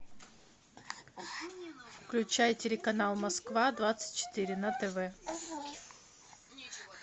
включай телеканал москва двадцать четыре на тв